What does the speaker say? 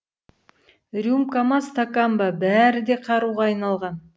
рюмка ма стакан ба бәрі де қаруға айналған